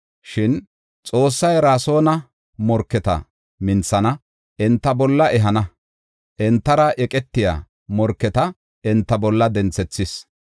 Shin, Xoossay Rasoona morketa minthana; enta bolla ehana; entara eqetiya morketa enta bolla denthethis.